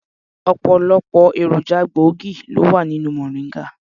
Ọ̀pọ̀lọpọ̀ èròjà gbòógì ló wà nínú mòríńgà.